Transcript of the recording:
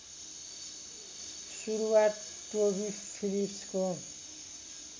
सुरुवात टोबी फिलिप्सको